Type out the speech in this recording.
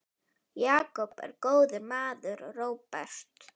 Jakob er góður maður, Róbert.